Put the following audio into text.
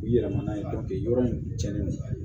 U yɛrɛ mana ye yɔrɔ min cɛnnen don